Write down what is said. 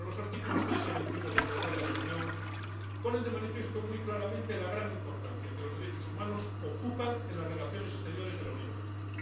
Los artículos 3 y 21 del Tratado de la Unión ponen de manifiesto muy claramente la gran importancia que los derechos humanos ocupan en las relaciones exteriores de la Unión Europea.